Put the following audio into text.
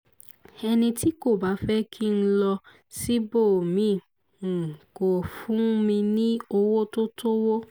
ẹni tí kò bá fẹ́ kí n lọ síbòmí-ín kò fún mi ní owó tó tó owó